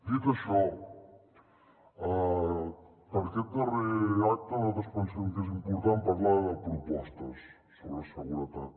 dit això en aquest darrer acte nosaltres pensem que és important parlar de propostes sobre seguretat